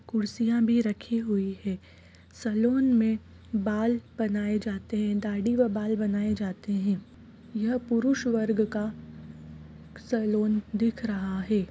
--कुर्सियां भी रखी हुई हैं-- सलोन में बाल बनाए जाते हैं दाढ़ी व बाल बनाए जाते हैं यह पुरुष वर्ग का सलोन दिख रहा है।